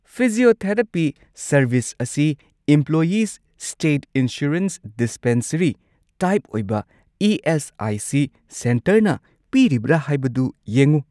Physiotherapy service ꯑꯁꯤ employees ' state insurance dispensary type ꯑꯣꯏꯕ ESIC. ꯁꯦꯟꯇꯔꯅ ꯄꯤꯔꯤꯕ꯭ꯔꯥ ꯍꯥꯏꯕꯗꯨ ꯌꯦꯡꯎ꯫